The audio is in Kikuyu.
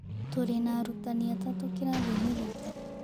Tũrĩ na arutani atatũ kĩrathiinĩ gitũ.